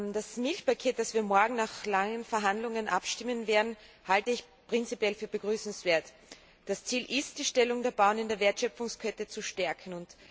Das Milchpaket, das wir morgen nach langen Verhandlungen beschließen werden, halte ich prinzipiell für begrüßenswert. Das Ziel ist, die Stellung der Bauern in der Wertschöpfkette zu stärken.